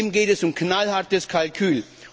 Ihm geht es um knallhartes Kalkül.